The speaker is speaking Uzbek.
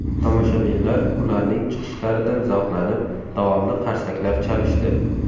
Tomoshabinlar ularning chiqishlaridan zavqlanib, davomli qarsaklar chalishdi.